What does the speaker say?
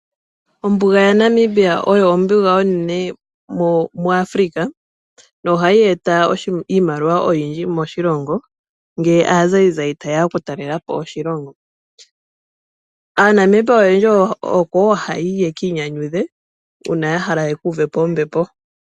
Ombunda yaNamibia oyo ombunga onene mwaAfrica noha yeeta iimaliwa oyindji moshilongo ngele aazayizayi tayeya okutalelapo oshilongo. AaNamibia oyendji oko woo ha yayi yekiinyanyudhe uuna yahala okukuvapo ombepo.